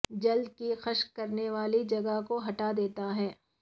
جلد کی خشک کرنے والی جگہ کو ہٹا دیتا ہے